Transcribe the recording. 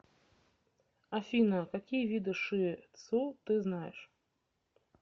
афина какие виды ши тсу ты знаешь